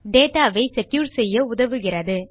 data வை secure செய்ய உதவுகிறது